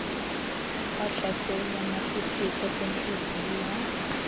wahlaselwa nasisifo sentliziyo